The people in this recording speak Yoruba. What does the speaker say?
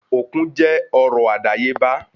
Òkun jẹ́ ọrọ̀ àdáyébá